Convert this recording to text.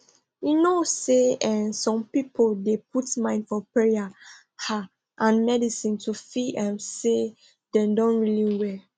you know say eeh some people dey put mind for payer ah and medicine to feel um say dem don really well